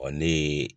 Ɔ ne ye